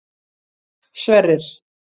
Sverrir